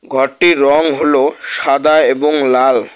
ঘরটির রং হলো সাদা এবং লাল।